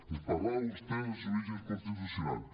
ens parlava vostè dels orígens constitucionals